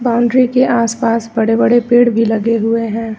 Boundary के आस-पास बड़े-बड़े पेड़ भी लगे हुए हैं।